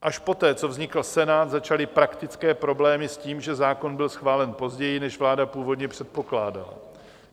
Až poté, co vznikl Senát, začaly praktické problémy s tím, že zákon byl schválen později, než vláda původně předpokládala.